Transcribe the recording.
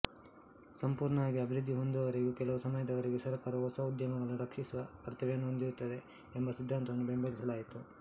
ಸಂಪೂರ್ಣವಾಗಿ ಅಭಿವೃದ್ಧಿ ಹೊಂದುವವರೆಗೂ ಕೆಲವು ಸಮಯದವರೆಗೆ ಸರ್ಕಾರವು ಹೊಸ ಉದ್ಯಮಗಳನ್ನು ರಕ್ಷಿಸುವ ಕರ್ತವ್ಯವನ್ನು ಹೊಂದಿರುತ್ತದೆ ಎಂಬ ಸಿದ್ಧಾಂತವನ್ನು ಬೆಂಬಲಿಸಲಾಯಿತು